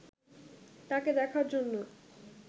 তাকে দেখার জন্য